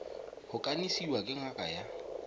go kanisiwa ke ngaka ya